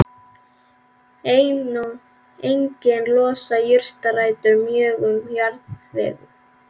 Einnig losa jurtarætur mjög um jarðveg.